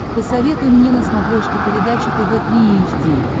посоветуй мне на смотрешке передачу тв три эйч ди